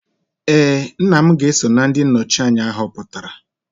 ee, nna m ga-eso na ndị nnọchi anya ahọpụtara